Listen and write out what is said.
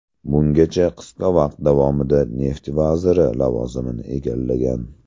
Bungacha qisqa vaqt davomida neft vaziri lavozimini egallagan.